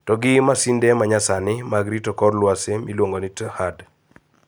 To gi masinde manyasani mag rito kor lwasi miluongo ni THAAD